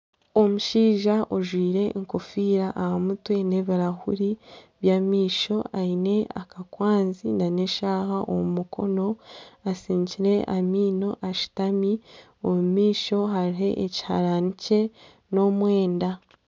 Omushaija ojwaire enkofiira aha mutwe nana ebirahuri byamaisho aine akakwanzi nana eshaaha omu mukono asinikire amaino, ashutami omumaisho hariho ekiharani kye n'omwenda